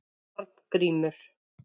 Arngrímur